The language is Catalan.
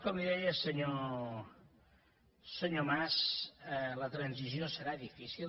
com li deia senyor mas la transició serà difícil